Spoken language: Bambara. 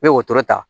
N bɛ wotoro ta